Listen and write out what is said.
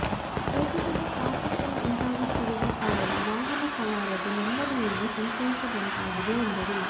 ಪ್ರತಿ ದಿನ traffic jam ಉಂಟಾಗುತ್ತಿರುವ ಕಾರಣ ವಾಹನ ಸವಾರರು ನೆಮ್ಮದಿಯಿಂದ ಸಂಚರಿಸದಂತಾಗಿದೆ ಎಂದರು